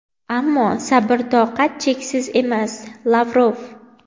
ammo sabr-toqat cheksiz emas – Lavrov.